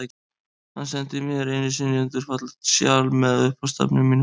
Hann sendi mér einu sinni undur fallegt sjal, með upphafsstafnum mínum.